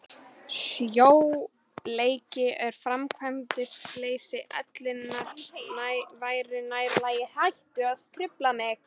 Sljóleiki og framkvæmdaleysi ellinnar væri nær lagi.